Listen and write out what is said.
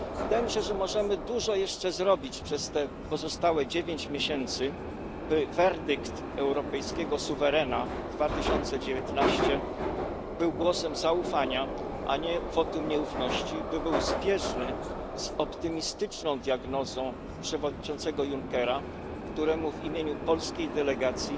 Wydaje mi się, że możemy dużo jeszcze zrobić przez te pozostałe dziewięć miesięcy, by werdykt europejskiego suwerena 2019 był głosem zaufania, a nie wotum nieufności, by był zbieżny z optymistyczną diagnozą przewodniczącego Junckera, któremu w imieniu polskiej delegacji